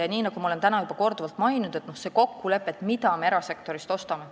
Ja nii nagu ma olen täna juba korduvalt maininud, on vaja seda kokkulepet, mida me erasektorilt tahame.